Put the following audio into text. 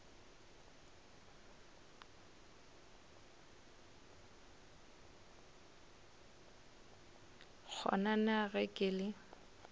kgona na ge ke le